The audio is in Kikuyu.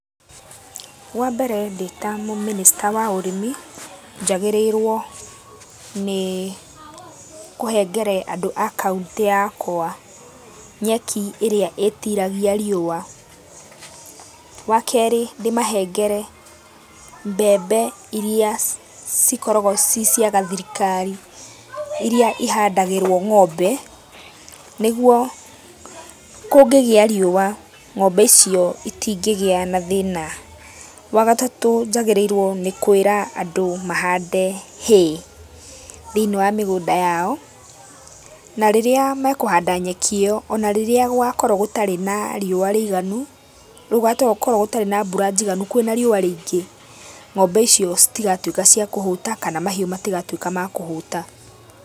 Wambere ndĩtamũmĩnĩsta wa ũrĩmi, njagĩrĩirwo nĩĩ kũhengere andũ a kauntĩ yakwa nyeki ĩrĩa ĩtiragia riũa. Wakerĩ, ndĩmahengere mbembe iria cikoragwo ciĩ cia gathirikari, iria ihandagĩrwo ngombe, nĩguo kũngĩgĩa riũa, ngombe icio itingĩgĩa na thĩna. Wagatatũ njagĩrĩirwo nĩ kwĩra andũ mahande hay, thĩiniĩ wa mĩgũnda yao. Na rĩrĩa mekũhanda nyeki ĩyo, onarĩrĩa gũgakorwo gũtarĩ na riũa rĩiganu, rĩu gũgakorwo gũtarĩ na mbura njiganu kwĩna riũa rĩingĩ, ngombe icio citigatuĩka cia kũhũta kana mahiũ matigatuĩka ma kũhũta.